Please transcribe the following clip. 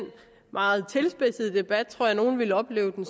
meget tilspidsede debat og jeg nogle oplevede den